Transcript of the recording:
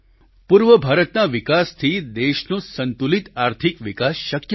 પૂર્વ ભારતના વિકાસથી દેશનો સંતુલિત આર્થિક વિકાસ શક્ય છે